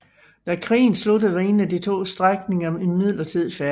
Da krigen sluttede var ingen af de to strækninger imidlertid færdige